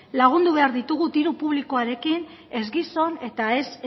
lagundu behar ditugu diru publikoarekin ez gizon eta ez